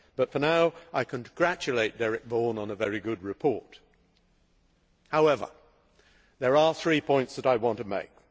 But for now I congratulate Mr Vaughan on a very good report. However, there are three points that I want to make.